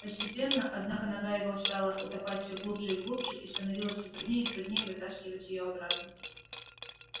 постепенно однако нога его стала утопать всё глубже и глубже и становилось все труднее и труднее вытаскивать её обратно